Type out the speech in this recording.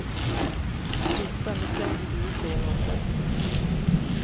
Titta, nu slängde du ut det genom fönstret.